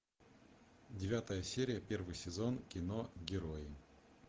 девятая серия первый сезон кино герои